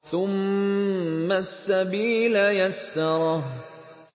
ثُمَّ السَّبِيلَ يَسَّرَهُ